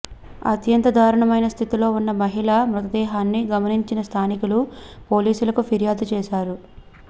అత్యంత దారుణమైన స్థితిలో ఉన్న మహిళ మృతదేహాన్ని గమనించిన స్థానికులు పోలీసులకు ఫిర్యాదు చేశారు